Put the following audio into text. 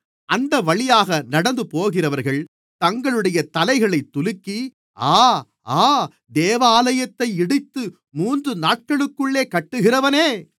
அந்தவழியாக நடந்துபோகிறவர்கள் தங்களுடைய தலைகளைத் துலுக்கி ஆ ஆ தேவாலயத்தை இடித்து மூன்று நாட்களுக்குள்ளே கட்டுகிறவனே